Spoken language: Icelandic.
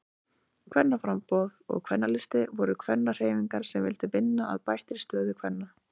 Kvennaframboð og Kvennalisti voru kvennahreyfingar sem vildu vinna að bættri stöðu kvenna.